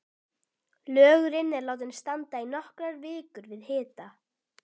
Lögurinn er látinn standa í nokkrar vikur við hita.